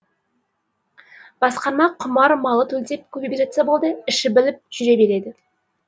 басқарма құмар малы төлдеп көбейіп жатса болды іші біліп жүре береді